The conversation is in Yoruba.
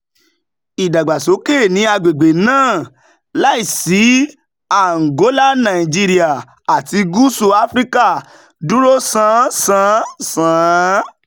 ìdàgbàsókè ní agbègbè náà - láìsí àǹgólà nàìjíríà àti gúúsù áfíríkà - dúró sán san. san.